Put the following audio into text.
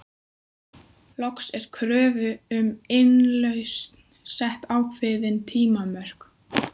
Loks er kröfu um innlausn sett ákveðin tímamörk.